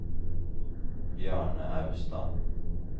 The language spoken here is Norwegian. Bjarne Austad